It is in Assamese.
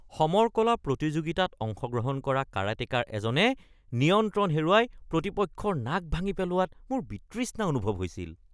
সমৰ কলা প্ৰতিযোগিতাত অংশগ্ৰহণ কৰা কাৰাটেকাৰ এজনে নিয়ন্ত্ৰণ হেৰুৱাই প্ৰতিপক্ষৰ নাক ভাঙি পেলোৱাত মোৰ বিতৃষ্ণা অনুভৱ হৈছিল।